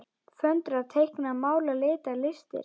Föndra- teikna- mála- lita- listir